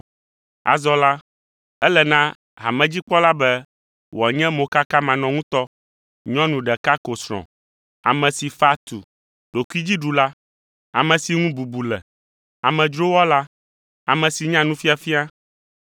Azɔ la, ele na hamedzikpɔla be wòanye mokakamanɔŋutɔ, nyɔnu ɖeka ko srɔ̃, ame si fa tu, ɖokuidziɖula, ame si ŋu bubu le, amedzrowɔla, ame si nya nufiafia